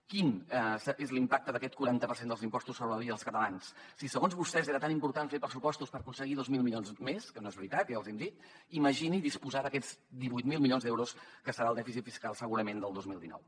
quin és l’impacte d’aquest quaranta per cent dels impostos sobre la vida dels catalans si segons vostès era tan important fer pressupostos per aconseguir dos mil milions més que no és veritat ja els hi hem dit imagini disposar d’aquests divuit mil milions d’euros que serà el dèficit fiscal segurament del dos mil dinou